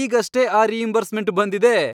ಈಗಷ್ಟೇ ಆ ರೀಇಂಬರ್ಸ್ಮೆಂಟ್ ಬಂದಿದೆ!